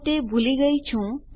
હું તે ભૂલી ગયી છું